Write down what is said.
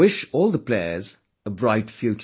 I wish all the players a bright future